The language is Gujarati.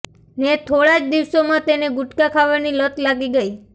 ને થોડા જ દિવસોમાં તેને ગુટકા ખાવાની લત લાગી ગઈ